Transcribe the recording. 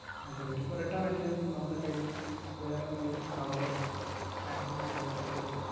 അയക്കാൻ പറ്റും. അപ്പം return അയക്കാൻ നേരത്ത് നമ്മടെ കയ്യില് വേറെന്തെങ്കിലും cover ഓ packing ഓ അങ്ങനെക്കെ എന്തേലും,